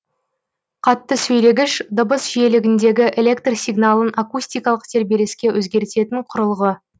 қатты сөйлегіш дыбыс жиілігіндегі электр сигналын акустикалық тербеліске өзгертетін кұрылғы